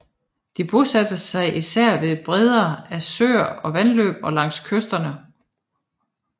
De bosatte sig især ved bredden af søer og vandløb og langs kysterne